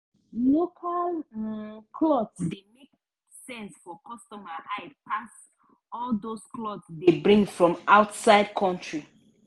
local um cloth dey make sense for customer eye pass all dos cloth dey bring from outside country. um